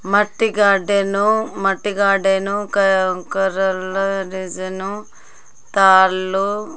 మట్టి గార్డెన్ మట్టి గార్డెన్ కె--కర్రలు డిజైన్ తాళ్ళు--